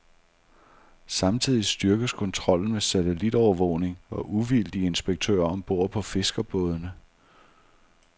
Samtidig styrkes kontrollen med satellitovervågning og uvildige inspektører om bord på fiskerbådene.